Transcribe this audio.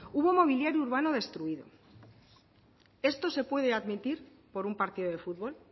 hubo mobiliario urbano destruido esto se puede admitir por un partido de futbol